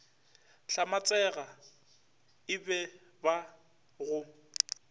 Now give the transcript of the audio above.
hlamatsega e ba ba go